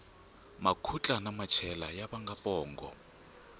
makhutla na machela ya vanga pongo